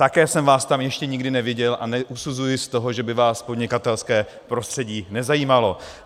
Také jsem vás tam ještě nikdy neviděl a neusuzuji z toho, že by vás podnikatelské prostředí nezajímalo.